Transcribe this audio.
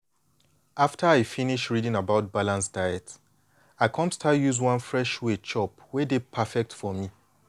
after i finish reading about balanced diet i come start use one fresh way chop wey dey perfect for me.